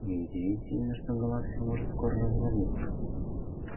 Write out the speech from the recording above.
не удивительно что галактика может скоро развалиться